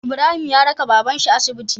Ibrahim ya raka baban shi asibiti